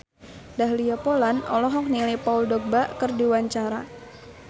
Dahlia Poland olohok ningali Paul Dogba keur diwawancara